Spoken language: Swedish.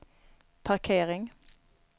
parkering